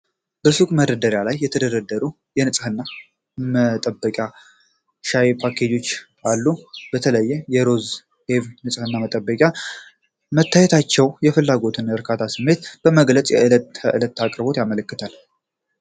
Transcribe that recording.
በሱቅ መደርደሪያዎች ላይ የተደረደሩ የተለያዩ የንጽህና መጠበቂያና ሻይ ፓኬጆች አሉ። በተለይ የሮዝና የኢቭ ንጽህና መጠበቂያዎች መታየታቸው የፍላጎትንና የእርካታን ስሜት በመግለጽ የዕለት ተዕለት አቅርቦትን ያመለክታሉ።